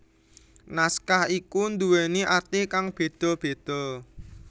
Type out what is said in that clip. Naskah iku nduweni arti kang beda beda